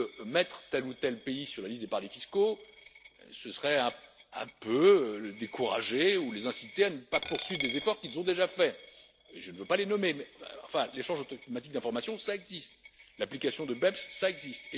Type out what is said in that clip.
que mettre tel ou tel pays sur la liste des paradis fiscaux, ce serait un peu les décourager ou les inciter à ne pas poursuivre des efforts qu'ils ont déjà faits, et je ne veux pas les nommer, mais l'échange automatique d'informations, cela existe, l'application de BEPS, cela existe.